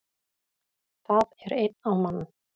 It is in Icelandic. Það er einn á mann